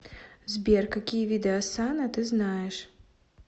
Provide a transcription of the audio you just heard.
сбер какие виды осанна ты знаешь